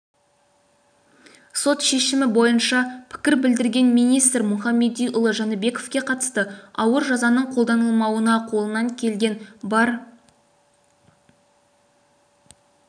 сот шешімі бойынша пікір білдірген министр мұхамедиұлы жәнібековке қатысты ауыр жазаның қолданылмауына қолынан келген бар